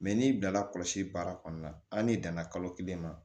n'i bilala kɔlɔsi baara kɔnɔna na hali n'i danna kalo kelen ma